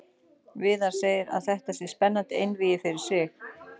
Viðar segir að þetta sé spennandi einvígi fyrir sig.